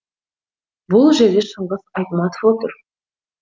бұл жерде шыңғыс айтматов отыр